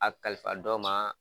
A kalifa dɔ maa.